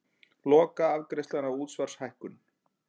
Lokaafgreiðsla á útsvarshækkun